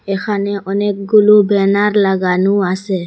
এখানে অনেকগুলো ব্যানার লাগানু আসে।